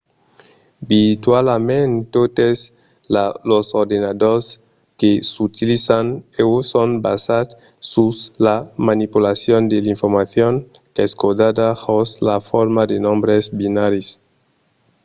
virtualament totes los ordenadors que s’utilizan uèi son basats sus la manipulacion de l’informacion qu'es codada jos la forma de nombres binaris